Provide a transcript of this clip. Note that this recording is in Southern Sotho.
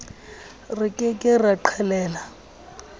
re ke ke ra qhelela